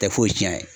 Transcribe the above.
Tɛ foyi tiɲɛ